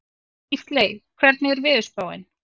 Gísley, hvernig er veðurspáin?